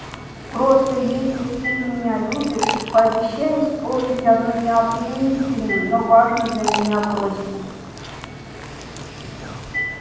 просто если ты меня любишь пообещай исполнить одну необременительную но важную для меня просьбу